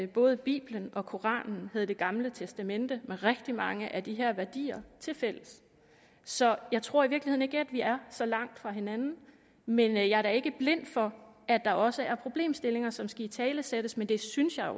både bibelen og koranen havde det gamle testamente med rigtig mange af de her værdier tilfælles så jeg tror i virkeligheden ikke at vi er så langt fra hinanden men jeg er da ikke blind for at der også er problemstillinger som skal italesættes men det synes jeg